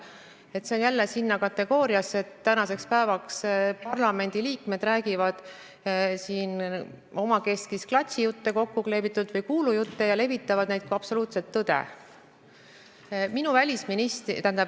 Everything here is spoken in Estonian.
See läheb jälle sinna kategooriasse, et parlamendi liikmed räägivad täna omakeskis kokku kleebitud klatšijutte ja levitavad neid kui absoluutset tõde.